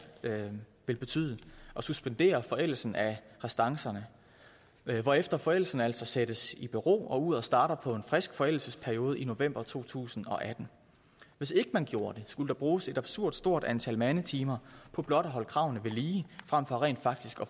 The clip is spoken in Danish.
betyde at suspendere forældelsen af restancerne hvorefter forældelsen altså sættes i bero og uret starter på en frisk forældelsesperiode i november to tusind og atten hvis ikke man gjorde det skulle der bruges et absurd stort antal mandetimer på blot at holde kravene ved lige frem for rent faktisk